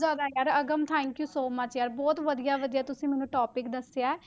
ਬਹੁਤ ਜ਼ਿਆਦਾ ਯਾਰ Agam thank you so much ਯਾਰ ਬਹੁਤ ਵਧੀਆ ਲੱਗਿਆ ਤੁਸੀਂ ਮੈਨੂੰ topic ਦੱਸਿਆ ਹੈ,